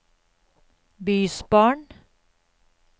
bysbarn